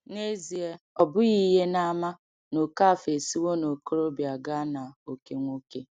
N’ezie, obughi ihe n’ama na Okafor esiwo n’okorobịa gaa n’oke nwoke.